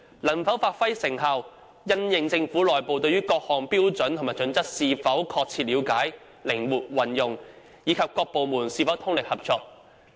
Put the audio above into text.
能否發揮成效，則因應政府內部對各項標準與準則是否確切了解、靈活應用，以及各部門是否通力合作。